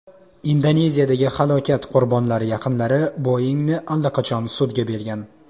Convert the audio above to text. Indoneziyadagi halokat qurbonlari yaqinlari Boeing‘ni allaqachon sudga bergan.